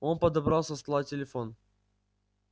он подобрал со стола телефон